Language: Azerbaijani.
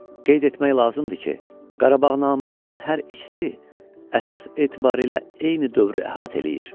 Qeyd etmək lazımdır ki, Qarabağnamələrin hər ikisi əsas etibarilə eyni dövrü əhatə eləyir.